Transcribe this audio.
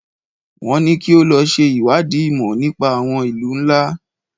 Wọ́n ní kí o lọ ṣe ìwádìí ìmọ̀ nípa àwọn ìlú ńlá.